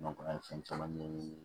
an ye fɛn caman ɲɛɲini